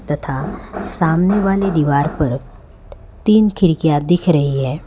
तथा सामने वाले दीवार पर तीन खिड़कियां दिख रही है।